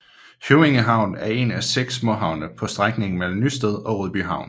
Høvænge Havn er en af 6 småhavne på strækningen mellem Nysted og Rødbyhavn